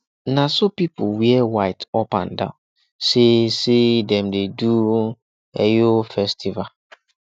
na so people wear white up and down sey sey dem dey do eyo festival